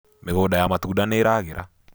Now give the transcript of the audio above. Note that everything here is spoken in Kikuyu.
mĩgũnda ya matunda nĩiragira